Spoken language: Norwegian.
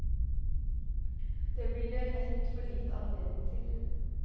Det blir det lett for lite anledning til.